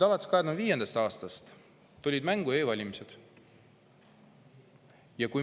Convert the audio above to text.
Alates 2005. aastast tulid mängu e-valimised.